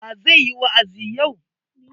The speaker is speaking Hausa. Wa zai yi wa'azi yau?